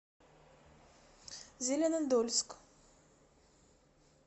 зеленодольск